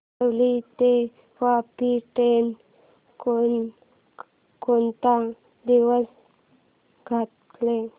बोरिवली ते वापी ट्रेन कोण कोणत्या दिवशी धावते